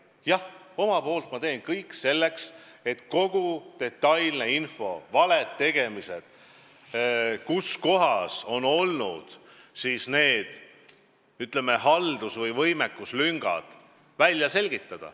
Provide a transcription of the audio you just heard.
Jah, omalt poolt ma teen kõik selleks, et välja selgitada kogu detailne info selle kohta, kus on midagi valesti tehtud, kus kohas on olnud need, ütleme, haldus- või võimekuslüngad.